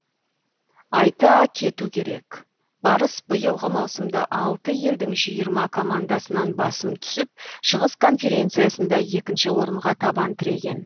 айта кету керек барыс биылғы маусымда алты елдің жиырма командасынан басым түсіп шығыс конференциясында екінші орынға табан тіреген